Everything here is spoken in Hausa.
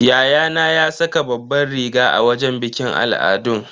Yayana ya saka babbar riga a wajen bikin al'adun.